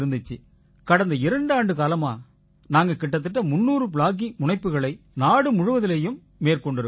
கடந்த இரண்டு ஆண்டுக்காலமா நாங்க கிட்டத்தட்ட 300 ப்ளாகிங் முனைப்புக்களை நாடு முழுவதிலயும் மேற்கொண்டிருக்கோம்